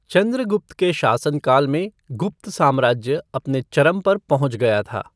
चंद्रगुप्त के शासनकाल में गुप्त साम्राज्य अपने चरम पर पहुँच गया था।